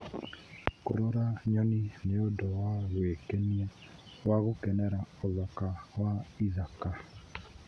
Kũrora nyoni nĩ ũndũ wa gwĩkenia wa gũkenera ũthaka wa ĩthaka.